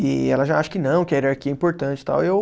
E ela já acha que não, que a hierarquia é importante e tal. Eu